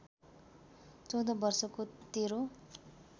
१४ वर्षको तेरो